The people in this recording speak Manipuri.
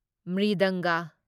ꯃ꯭ꯔꯤꯗꯪꯒ